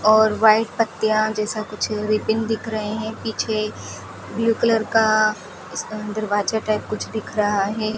और व्हाइट पत्तियां जैसा कुछ रीबीन दिख रहे है पीछे ब्लू कलर का दरवाजा टाइप कुछ दिख रहा है।